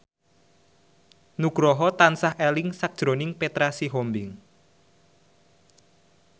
Nugroho tansah eling sakjroning Petra Sihombing